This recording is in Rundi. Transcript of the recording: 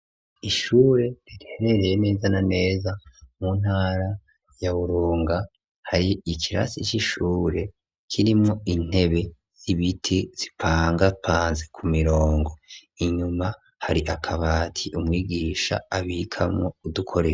Ishure riherereye neza na neza mu ntara ya Burunga, hari ikirasi c'ishure kirimwo intebe z'ibiti zipangapanze ku mirongo, inyuma hari akabati umwigisha abikamwo udukore.